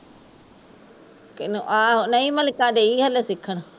ਕਿਹਨੂ ਆਹੋ ਨਹੀਂ ਮਲਿਕਾ ਗਈ ਹਲੇ ਸਿੱਖਣ